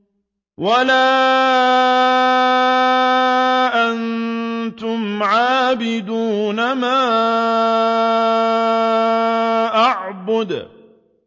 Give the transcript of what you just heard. وَلَا أَنتُمْ عَابِدُونَ مَا أَعْبُدُ